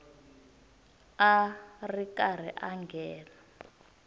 a ri karhi a nghena